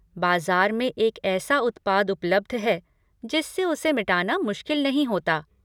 बाज़ार में एक ऐसा उत्पाद उपलब्ध है जिससे उसे मिटाना मुश्किल नहीं होता।